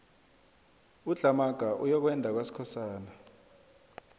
udlhamaga uyokwenda kwaskosana